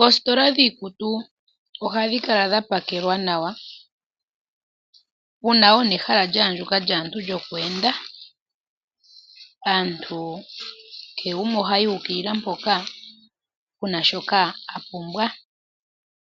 Oositola dhiikutu ohadhi kala dhapakelwa nawa uuna wuna ehala lyaandjuka nawa lyaantu lyoku enda, aantu kehe gumwe ohayi uukilila mpoka puna shoka apumbwa,